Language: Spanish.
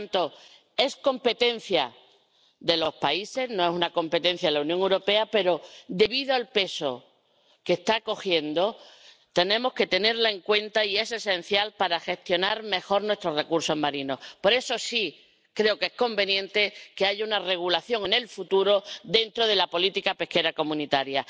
Por tanto, es competencia de los países, no es una competencia de la Unión Europea pero, debido al peso que está cogiendo, tenemos que tenerla en cuenta y es esencial para gestionar mejor nuestros recursos marinos. Por eso, creo que es conveniente que haya una regulación en el futuro dentro de la política pesquera comunitaria.